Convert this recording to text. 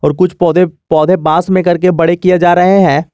कुछ पौधे पौधे बांस में करके बड़े किए जा रहे हैं।